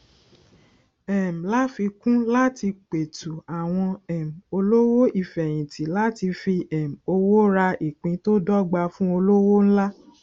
um láfikún láti petu àwọn um olówò ifeyinti láti fi um owó rà ìpín tó dọgba fún olówò ńlá